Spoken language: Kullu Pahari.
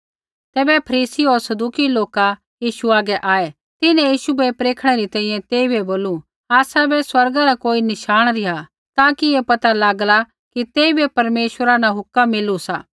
तैबै फरीसी होर सदूकी लोका यीशु हागै आऐ तिन्हैं यीशु बै परखणै री तैंईंयैं तेइबै बोलू आसाबै स्वर्गा रा कोई नशाणी रिहा ताकि ऐ पता लागला कि तेइबै परमेश्वरा न हुक्म मिलु सा